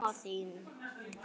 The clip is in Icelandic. Hvernig er mamma þín?